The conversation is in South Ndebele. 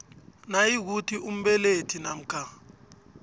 nayikuthi umbelethi namkha